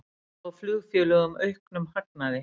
Spá flugfélögum auknum hagnaði